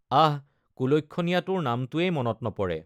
আঃ কুলক্ষণীয়াটোৰ নামটোৱেই মনত নপৰে।